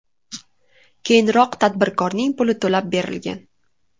Keyinroq tadbirkorning puli to‘lab berilgan .